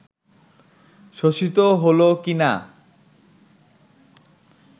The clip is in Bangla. শোষিত হলো কিনা